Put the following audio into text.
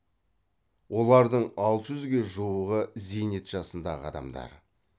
олардың алты жүзге жуығы зейнет жасындағы адамдар